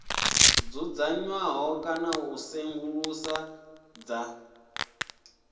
dzudzanywaho kana u tsedzuluso dza